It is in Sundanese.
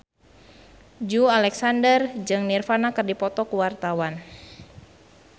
Joey Alexander jeung Nirvana keur dipoto ku wartawan